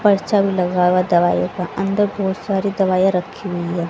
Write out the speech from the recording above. पर्चा भी लगा हुआ दवाई का अंदर बहुत सारी दवाइयां रखी हुई है।